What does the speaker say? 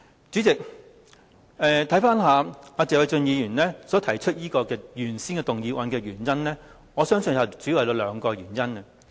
主席，謝偉俊議員提出譴責議案，我相信有兩個主要原因。